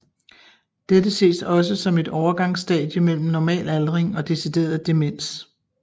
Dette ses også som et overgangsstadie mellem normal aldring og decideret demens